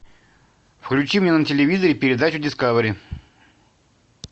включи мне на телевизоре передачу дискавери